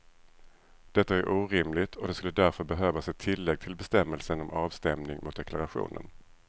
Detta är orimligt och det skulle därför behövas ett tillägg till bestämmelsen om avstämning mot deklarationen.